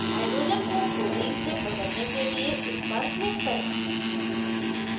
hydrogen को fluorine से बदलने के लिए इस पर click करें